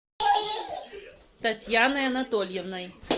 татьяной анатольевной